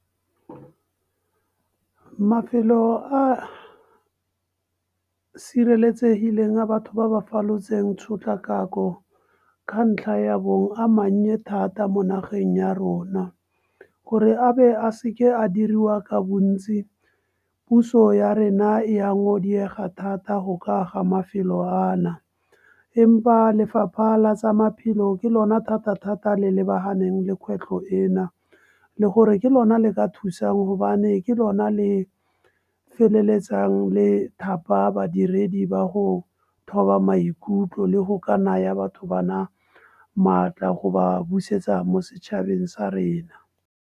Mafelo a sireletsegileng a batho ba ba falotseng tshotlakako, ka ntlha ya bong a mannye thata mo nageng ya rona. Gore a be a seke a diriwa ka bontsi, puso ya rena e a thata go ka aga mafelo ana. Empa lefapha la tsa maphelo, ke lona thata-thata le lebaganeng le kgwetlho ena. Le gore ke lona le ka thusang gobane ke lona le feleletsang le thapa badiredi ba go thoba maikutlo le go ka naya batho bana, maatla go ba busetsa mo setšhabeng sa rena.